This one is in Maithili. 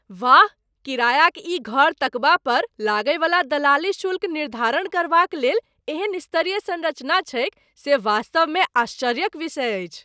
वाह, किरायाक ई घर तकबा पर लागयवला दलाली शुल्क निर्धारण करबाक लेल एहन स्तरीय संरचना छैक से वास्तवमे आश्चर्यक विषय अछि।